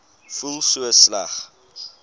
voel so sleg